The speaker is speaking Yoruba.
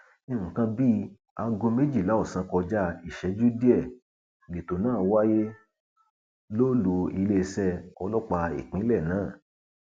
nǹkan bíi aago méjìlá ọsán kọjá ìṣẹjú díẹ lẹtọ náà wáyé lólu iléeṣẹ ọlọpàá ìpínlẹ náà